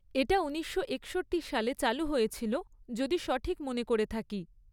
এটা উনিশশো একষট্টি সালে চালু হয়েছিল, যদি সঠিক মনে করে থাকি।